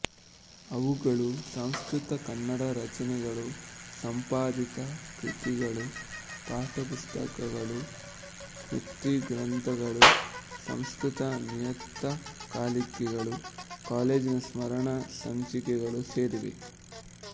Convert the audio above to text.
ಅವುಗಳು ಸಂಸ್ಕೃತ ಕನ್ನಡ ರಚನೆಗಳು ಸಂಪಾದಿತ ಕೃತಿಗಳು ಪಠ್ಯಪುಸ್ತಕಗಳು ಸ್ಮೃತಿಗ್ರಂಥಗಳು ಸಂಸ್ಕೃತ ನಿಯತಕಾಲಿಕೆಗಳು ಕಾಲೇಜಿನ ಸ್ಮರಣ ಸಂಚಿಕೆಗಳು ಸೇರಿವೆ